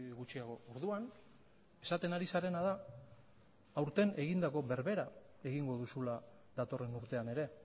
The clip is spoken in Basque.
gutxiago orduan esaten ari zarena da aurten egindako berbera egingo duzula datorren urtean ere